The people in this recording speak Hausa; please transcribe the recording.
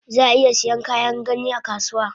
Zaa iya Saiyan Kayan gani akasuwa